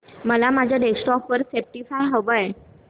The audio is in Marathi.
मला माझ्या डेस्कटॉप वर स्पॉटीफाय हवंय